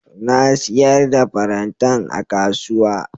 Na siyar da farantan a kasuwa.